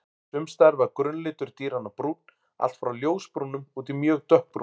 Sums staðar var grunnlitur dýranna brúnn, allt frá ljósbrúnum út í mjög dökkbrúnan.